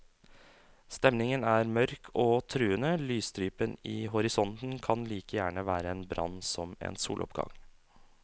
Stemningen er mørk og truende, lysstripen i horisonten kan like gjerne være en brann som en soloppgang.